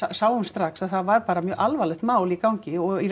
sáum strax að það var bara mjög alvarlegt mál í gangi og í